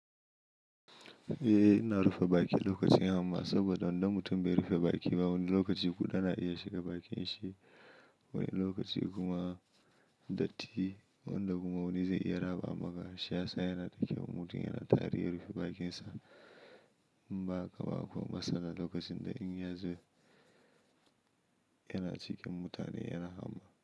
Eh, ina rufe baki lokacin hamma saboda idan mutum bai rufe baki ba, wani lokaci kuda na iya shiga bakin shi. Wani lokaci kuma datti wanda kuma wani zai iya raba maka shiyasa yana da kyau in mutum yana tari rufe bakinsa. In ba haka ba akwai matsala lokacin da in yazo yana cikin mutane yana hamma.